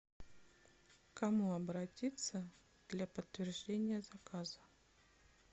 к кому обратиться для подтверждения заказа